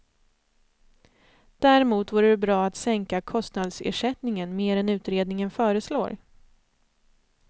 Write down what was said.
Däremot vore det bra att sänka kostnadsersättningen mer än utredningen föreslår.